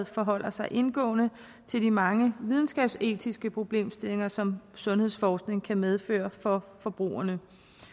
forholder sig indgående til de mange videnskabsetiske problemstillinger som sundhedsforskning kan medføre for forbrugerne